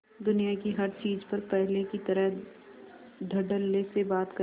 दुनिया की हर चीज पर पहले की तरह धडल्ले से बात करे